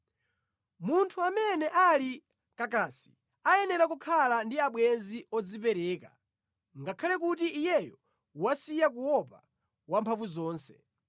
“Munthu amene ali kakasi ayenera kukhala ndi abwenzi odzipereka, ngakhale kuti iyeyo wasiya kuopa Wamphamvuzonse.